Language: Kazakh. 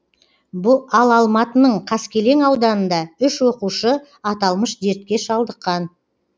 ал алматының қаскелең ауданында үш оқушы аталмыш дертке шалдыққан